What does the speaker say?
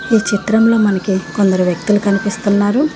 ఈ చిత్రంలో మనకి కొందరు వ్యక్తులు కనిపిస్తున్నారు.